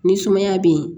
Ni sumaya be yen